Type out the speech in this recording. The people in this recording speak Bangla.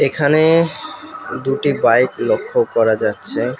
এখানে দুটি বাইক লক্ষ্য করা যাচ্ছে।